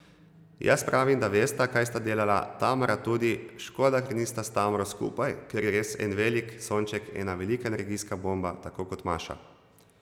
Jaz pravim, da vesta, kaj sta delala, Tamara tudi, škoda ker nista s Tamaro skupaj, ker je res en velik sonček, ena velika energijska bomba, tako kot Maša.